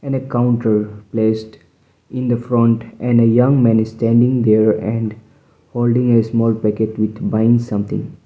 and a counter placed in the front and a young man standing there and holding a small packet with buying something.